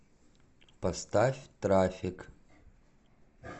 поставь трафик